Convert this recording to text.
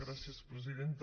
gràcies presidenta